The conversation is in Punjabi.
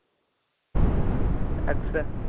ਏਕ੍ਸ